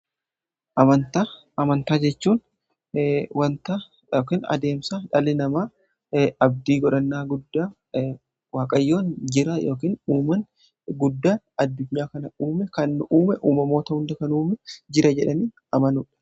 amantaa, amantaa jechuun wanta yookaan adeemsa dhali namaa abdii godhannaa guddaa waaqayyoon jira yookaan uumaa guddaan addunyaa kana uume kan uume uumamoota hunda kan uuma jira jedhanii amanuudha.